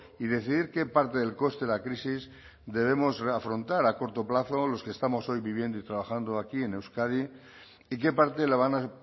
y decidir qué parte del coste de la crisis debemos afrontar a corto plazo los que estamos hoy viviendo y trabajando aquí en euskadi y qué parte la van a